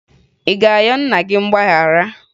Ị ga-ayọ nna gị mgbaghara?